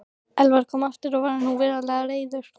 Elvar kom aftur og var nú verulega reiður.